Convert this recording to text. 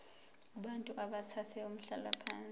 kubantu abathathe umhlalaphansi